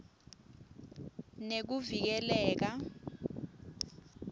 nekuvikeleka